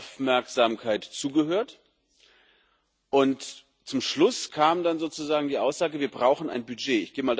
Ich habe mit Aufmerksamkeit zugehört, und zum Schluss kam dann sozusagen die Aussage Wir brauchen ein Budget.